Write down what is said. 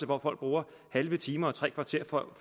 hvor folk bruger halve timer og tre kvarter for at